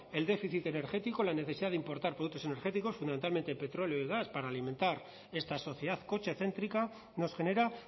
el déficit energético la necesidad de importar productos energéticos fundamentalmente petróleo y gas para alimentar esta sociedad cochecéntrica nos genera